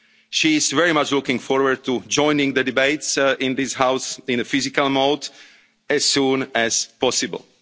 from Croatia. She is very much looking forward to joining the debates in this House in a physical mode as soon